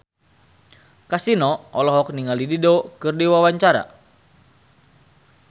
Kasino olohok ningali Dido keur diwawancara